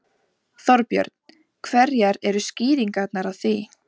Þorbjörn: Hverjar eru skýringarnar á því?